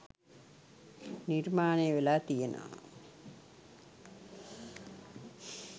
නිර්මානය වෙලා තියෙනවා.